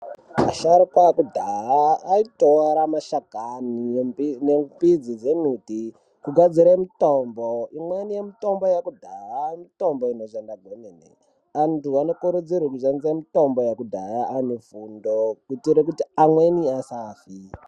Asharuka ekudhaya aitora mashakani ne mbidzi dze miti ku gadzire mitombo imweni ye mutombo yekudhaya mitombo inoshanda kwemene antu ano kurudzirwe kushandisa mitombo yekudhaya ane fundo kuitire kuti amweni asafi.